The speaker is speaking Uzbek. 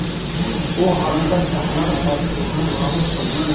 Bu haqda shahar hokimligi ma’lum qildi .